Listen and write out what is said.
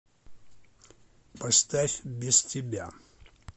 поставь без тебя